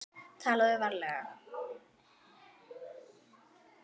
TALAÐU VARLEGA